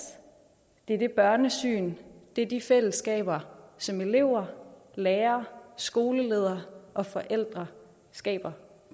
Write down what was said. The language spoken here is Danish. det er det børnesyn det er de fællesskaber som elever lærere skoleledere og forældre skaber